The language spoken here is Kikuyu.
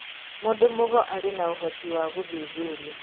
Mũndũ mũgo arĩ na ũhoti wa gũthuthuria